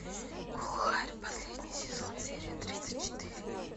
глухарь последний сезон серия тридцать четыре